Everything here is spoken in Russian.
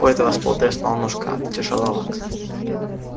у этого стула треснула ножка а ты тяжеловат